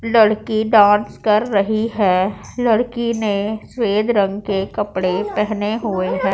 लड़की डांस कर रही है लड़की ने सफेद रंग के कपड़े पहने हुए हैं।